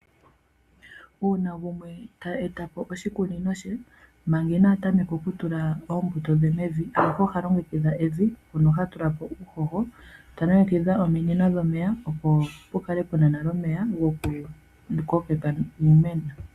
Uuna gumwe ta eta po oshikunino she, manga ina tameka okutula oombuto dhe mevi, oha longekidha evi mpono ha tula po uuhoho. Ta longekidha ominino dhomeya opo pu kale pu na nale omeya gokukokeka iimena.